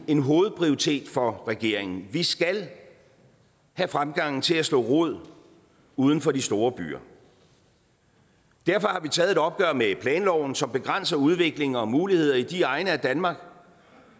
en hovedprioritet for regeringen at vi skal have fremgangen til at slå rod uden for de store byer og derfor har vi taget et opgør med planloven som begrænser udvikling og muligheder i de egne af danmark